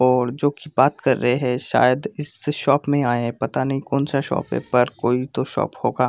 और जो की बात कर रहे है शायद इस शॉप में आए है पता नहीं कोन सा शॉप है पर कोई तो शॉप होगा।